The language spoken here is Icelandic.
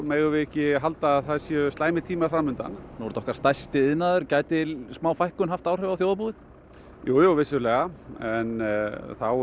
megum við ekki halda að það séu slæmir tímar fram undan nú er þetta okkar stærsti iðnaður gæti fækkun haft áhrif á þjóðarbúið já já vissulega en þá